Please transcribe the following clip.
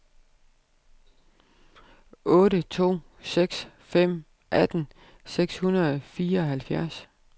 otte to seks fem atten seks hundrede og fireoghalvfjerds